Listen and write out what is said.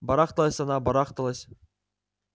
барахталась она барахталась